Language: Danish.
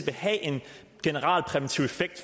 have en generalpræventiv effekt